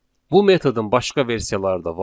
Bu metodun başqa versiyaları da var.